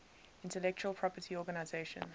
intellectual property organization